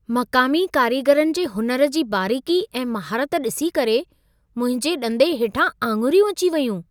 मक़ामी कारीगरनि जे हुनर जी बारीक़ी ऐं महारत ॾिसी करे मुंहिंजे ॾंदे हेठां आङिरियूं अची वेयूं।